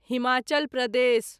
Himachal Pradesh